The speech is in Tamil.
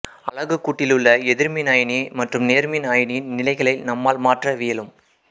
அலகுக்கூட்டிலுள்ள எதிர்மின் அயனி மற்றும் நேர்மின் அயனியின் நிலைகளை நம்மால் மாற்றவியலும்